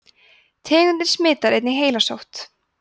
tegundin smitar einnig heilasótt